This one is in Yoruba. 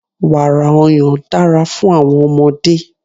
Wàrà ọyàn dára fún àwọn ọmọdé.